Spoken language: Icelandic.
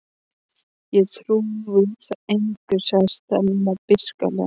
Þú trúir engu sagði Stella beisklega.